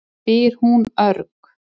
spyr hún örg.